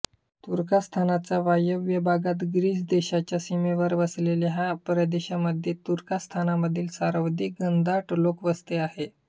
तुर्कस्तानच्या वायव्य भागात ग्रीस देशाच्या सीमेवर वसलेल्या ह्या प्रदेशामध्ये तुर्कस्तानमधील सर्वाधिक घनदाट लोकवस्ती आहे